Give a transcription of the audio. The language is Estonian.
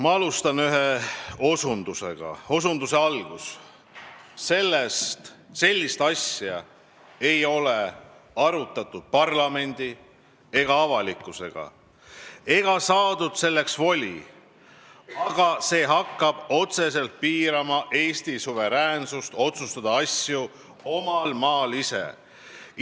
Ma alustan ühe osundusega: "Sellist asja ei ole arutatud parlamendi ega avalikkusega ega saadud selleks voli, aga see hakkab otseselt piirama Eesti suveräänsust otsustada asju omal maal ise.